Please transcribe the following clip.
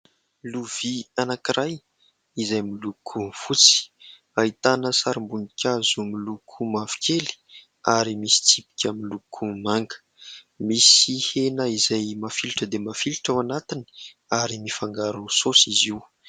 Lovia anankiray izay miloko fotsy, ahitana sarim-boninkazo miloko mavokely ary misy tsipika miloko manga, misy hena izay mafilotra dia mafilotra ao anatiny ary mifangaro saosy izy io.